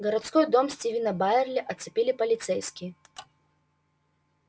городской дом стивена байерли оцепили полицейские